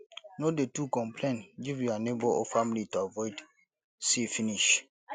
no dey too complain give your neigbour or family to avoid see finish